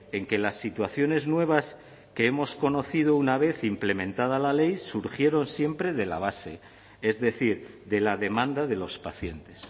en que las situaciones nuevas que hemos conocido una vez implementada la ley surgieron siempre de la base es decir de la demanda de los pacientes